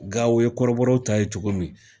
Gawo ye kɔrɔbɔrpw ta ye cogo min